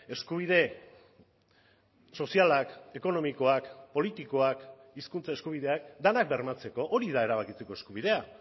eskubide sozialak ekonomikoak politikoak hizkuntza eskubideak denak bermatzeko hori da erabakitzeko eskubidea